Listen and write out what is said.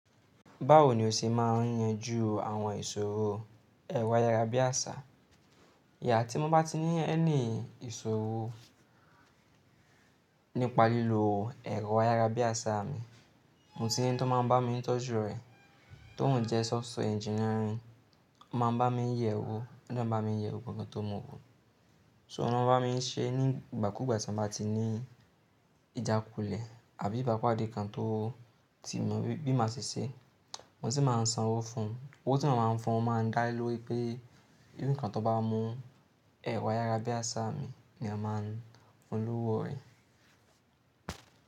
Báwo ni o ṣe máa ń yanjú àwọn ìṣòro ẹ̀rọ ayárabíàṣá? Tí mo bá ti ní any ìṣòro nípa lílo ẹ̀rọ ayárabíàṣá mi, mo ti ní ẹni tí ó máa ń bá mi tọ́jú rẹ̀, tó ń jẹ́ software engineering. Ó máa ń bá mi yẹ̀ ẹ́ wò, ó dẹ n bá mi yẹ gbogbo ohun kan tí o mu wo. So ó máa ń bá mi ṣe nígbà kúgbà tí m bá ti ní ìjákulẹ̀ àbí ìbápàdé kan tó ti mọ bí má ṣe ṣe. Mo sì máa ń san owó fún un. Owó tí mo máa ń fún un máa ń dá lé lórí pé bí nǹkan tó bá mú ẹ̀rọ ayárabíàṣá mi, ni a máa ń fún un l'ówó rẹ̀.